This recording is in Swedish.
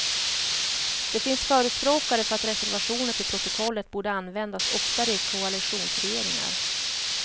Det finns förespråkare för att reservationer till protokollet borde användas oftare i koalitionsregeringar.